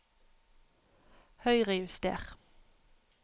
Høyrejuster